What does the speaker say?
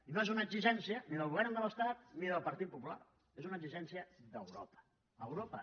i no és una exigència ni del govern de l’estat ni del partit popular és una exigència d’europa europa